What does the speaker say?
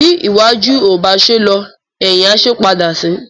Bí iwájú ò bá ṣe é lọ, ẹ̀hìn á ṣe é padà sí.